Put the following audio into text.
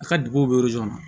A ka duguw bɛ na